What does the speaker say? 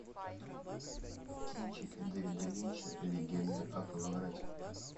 кинчик дэвида линча легенда о коловрате